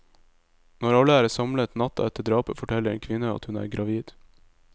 Når alle er samlet natta etter drapet forteller en kvinne at hun er gravid.